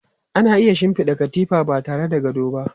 Ana iya shinfiɗa katifa ba tare da gado ba.